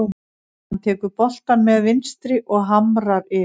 Hann tekur boltann með vinstri og hamrar yfir.